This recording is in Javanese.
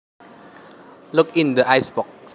Look in the icebox